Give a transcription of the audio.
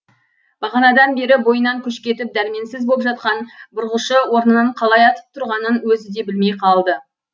бағанадан бері бойынан күш кетіп дәрменсіз боп жатқан бұрғышы орнынан қалай атып тұрғанын өзі де білмей қалды